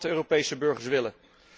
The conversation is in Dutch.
Dat is wat de Europese burgers willen.